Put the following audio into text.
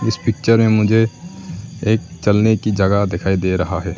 Picture में मुझे एक चलने की जगह दिखाई दे रहा है।